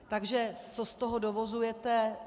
Takže co z toho dovozujete?